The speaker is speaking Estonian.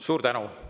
Suur tänu!